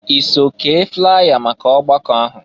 I so kee flya maka ọgbakọ ahụ?